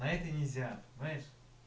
а это нельзя понимаешь